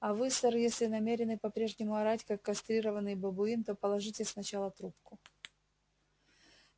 а вы сэр если намерены по-прежнему орать как кастрированный бабуин то положите сначала трубку